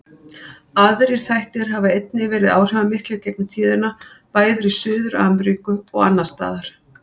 Aðrir þættir hafa einnig verið áhrifamiklir í gegnum tíðina, bæði í Suður-Ameríku og annars staðar.